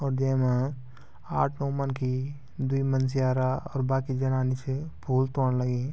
और येमा आठ नौ मनखी द्वि मनस्यारा और बाकी जनानी च फूल तोडं लगी।